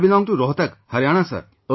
I belong to Rohtak, Haryana Sir